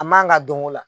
A man kan ka dɔn o la